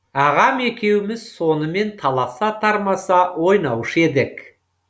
ағам екеуіміз сонымен таласа тармаса ойнаушы едік